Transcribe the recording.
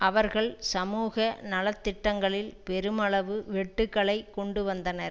அவர்கள் சமூக நலத்திட்டங்களில் பெருமளவு வெட்டுக்களை கொண்டு வந்தனர்